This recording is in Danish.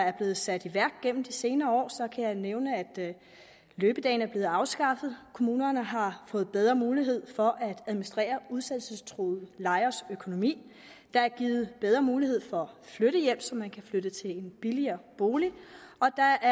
er blevet sat i værk gennem de senere år kan jeg nævne at løbedagene er blevet afskaffet at kommunerne har fået bedre mulighed for at administrere udsættelsestruede lejeres økonomi at der er givet bedre mulighed for at få flyttehjælp så man kan flytte til en billigere bolig og at der